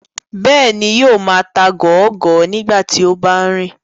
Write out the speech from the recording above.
Bẹ́ẹ̀ni, yóò máa ta gọọgọ nígbà tí ó bá ń rìn